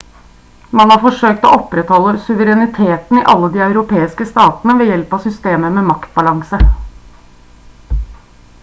man har forsøkt å opprettholde suvereniteten i alle de europeiske statene ved hjelp av systemet med maktbalanse